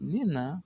Ne na